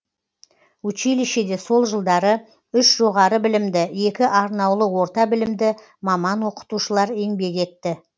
училищеде сол жылдары үш жоғары білімді екі арнаулы орта білімді маман оқытушылар еңбек етті